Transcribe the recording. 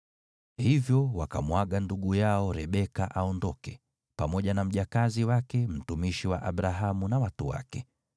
Hivyo wakamwaga ndugu yao Rebeka aondoke, pamoja na mjakazi wake, mtumishi wa Abrahamu na watu wake.